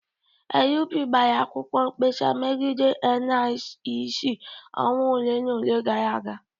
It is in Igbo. LP gbara akwụkwọ mkpesa megide INEC ọnwa ole na ole gara aga